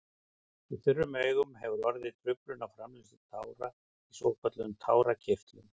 Í þurrum augum hefur orðið truflun á framleiðslu tára í svokölluðum tárakirtlum.